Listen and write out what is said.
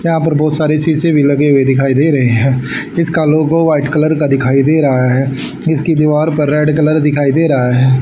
यहां पर बहोत सारे शीशे भी लगे हुए दिखाई दे रहे है इसका लोगो व्हाइट कलर का दिखाई दे रहा है इसकी दीवार पर रेड कलर दिखाई दे रहा है।